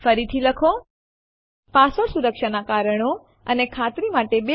ફરીથી હેડ ખસેડતા પેહલા ચાલો સ્ક્રીન સાફ કરીએ